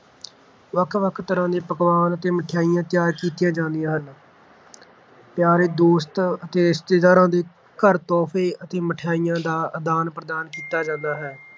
ਵੱਖ-ਵੱਖ ਤਰ੍ਹਾਂ ਦੇ ਪਕਵਾਨ ਅਤੇ ਮਠਿਆਈਆਂ ਤਿਆਰ ਕੀਤੀਆਂ ਜਾਂਦੀਆਂ ਹਨ ਪਿਆਰੇ ਦੋਸਤ ਅਤੇ ਰਿਸ਼ਤੇਦਾਰਾਂ ਦੇ ਘਰ ਤੋਹਫ਼ੇ ਅਤੇ ਮਿਠਾਈਆਂ ਦਾ ਆਦਾਨ-ਪ੍ਰਦਾਨ ਕੀਤਾ ਜਾਂਦਾ ਹੈ।